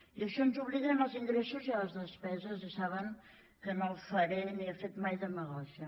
i això ens obliga en els ingressos i a les despeses i saben que no faré ni he fet mai demagògia